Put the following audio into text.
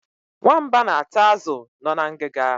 Nwamba na-ata azụ nọ na ngiga.